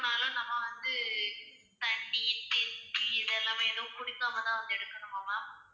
நம்ம வந்து தண்ணி tea இதெல்லாமே எதுவும் குடிக்காம தான் வந்து எடுக்கணுமா ma'am